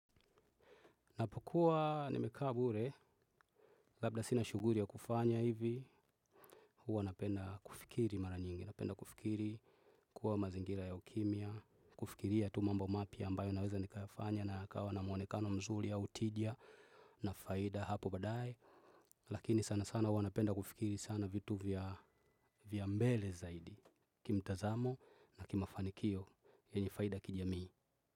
Napokua nimekabure, labda sinashughuri ya kufanya hivi, huwa napenda kufikiri mara nyingi, napenda kufikiri, kuwa mazingira ya ukimya, kufikiria tu mambo mapya ambayo naweza nikayafanya na yakawa na mwonekano mzurii au tija na faida hapo baadae. Lakini sana sana huwa napenda kufikiri sana vitu vya mbele zaidi, kimtazamo na kimafanikio yenye faida kijamii.